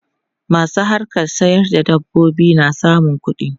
Masu harkan sayar da dabbobi na samun kuɗi.